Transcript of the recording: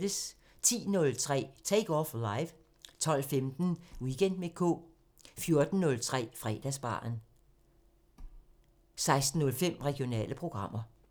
10:03: Take Off Live 12:15: Weekend med K 14:03: Fredagsbaren 16:05: Regionale programmer